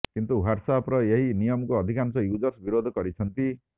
କିନ୍ତୁ ହ୍ୱାଟ୍ସଆପର ଏହି ନିୟମକୁ ଅଧିକାଂଶ ୟୁଜର୍ସ ବିରୋଧ କରିଛନ୍ତି